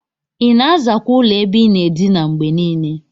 Ina azakwa ụlọ ebe inaa edinaa ngbenile?